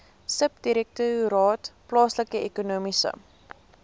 subdirektoraat plaaslike ekonomiese